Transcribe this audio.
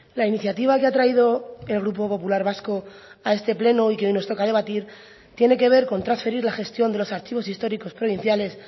la iniciativa que ha traído el grupo popular vasco a este pleno y que hoy nos toca debatir tiene que ver con transferir la gestión de los archivos históricos provinciales